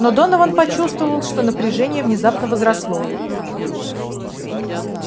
но донован почувствовал что напряжение внезапно возросло